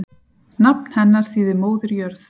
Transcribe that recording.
Nafn hennar þýðir móðir jörð.